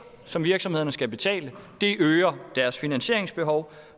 som virksomhederne skal betale det øger deres finansieringsbehov